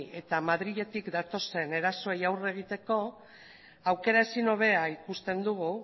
eta madriletik datozen erasoei aurre egiteko aukera ezin hobea ikusten dugu